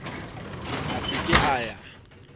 a se ke a ya